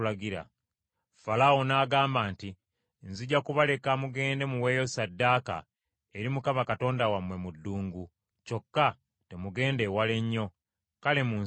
Falaawo n’agamba nti, “Nzija kubaleka mugende muweeyo ssaddaaka eri Mukama Katonda wammwe mu ddungu, kyokka temugenda ewala ennyo. Kale munsabire.”